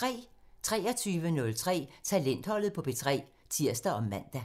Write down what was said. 23:03: Talentholdet på P3 (tir og man)